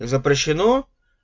запрещено